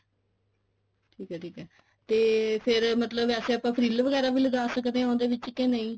ਠੀਕ ਐ ਠੀਕ ਐ ਤੇ ਫੇਰ ਵੈਸੇ ਆਪਾਂ ਫ੍ਰੀਲ ਵਗੈਰਾ ਵੀ ਲਗਾ ਸਕਦੇ ਹਾਂ ਉਹਦੇ ਵਿੱਚ ਕੇ ਨਹੀਂ